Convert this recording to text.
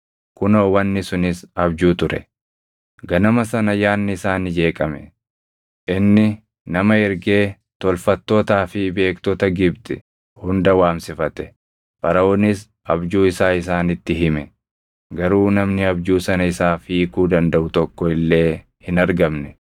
Ganama sana yaadni isaa ni jeeqame; inni nama ergee tolfattootaa fi beektota Gibxi hunda waamsifate. Faraʼoonis abjuu isaa isaanitti hime; garuu namni abjuu sana isaaf hiikuu dandaʼu tokko illee hin argamne.